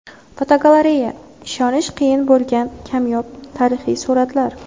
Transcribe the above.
Fotogalereya: Ishonish qiyin bo‘lgan kamyob tarixiy suratlar.